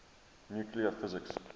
nuclear physics